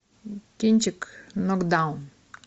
кинчик нокдаун